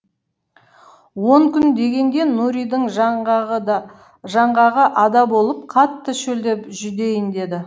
он күн дегенде нуридың жаңғағы ада болып қатты шөлдеп жүдейін деді